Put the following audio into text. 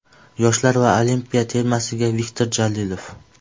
Yoshlar va Olimpiya termasiga Viktor Jalilov.